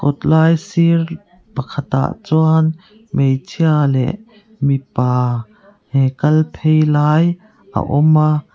kawt lai sir pakhatah chuan hmeichhe leh mipa kal phei lai a awm a.